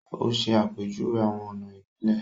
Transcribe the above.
O ṣe àpèjúwe awọn ọna ibilẹ